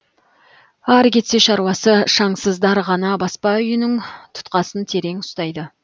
ары кетсе шаруасы шаңсыздар ғана баспа үйінің тұтқасын терең ұстайды